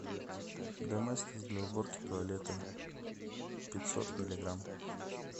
доместос для уборки туалета пятьсот миллиграмм